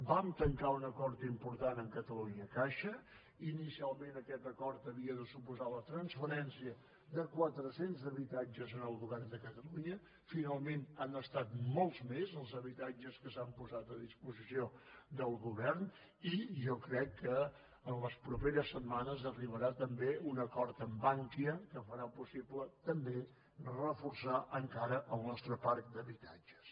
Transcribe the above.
vam tancar un acord important amb catalunya caixa inicialment aquest acord havia de suposar la transferència de quatre cents habitatges al govern de catalunya finalment han estat molts més els habitatges que s’han posat a disposició del govern i jo crec que en les properes setmanes arribarà també un acord amb bankia que farà possible també reforçar encara el nostre parc d’habitatges